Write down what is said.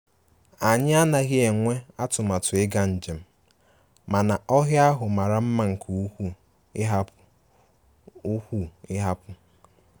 Anyị anaghị enwe atụmatụ ịga njem, mana ọhịa ahụ mara mma nke ukwuu ịhapu ukwuu ịhapu